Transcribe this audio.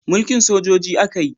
Mulkin sojoji a ka yi